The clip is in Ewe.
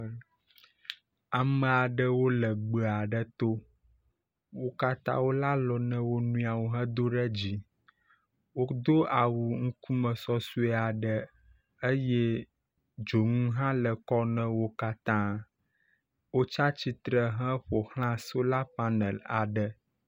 Ame aɖewo le gbe aɖe to. Wo katã wole alɔ na wo nɔeawo hedo ɖe dzi, wodo awu ŋkume sɔsɔe aɖe eye dzonu hã le kɔ nawo katã. Wotsi atsitre heƒoxla solar panel aɖe.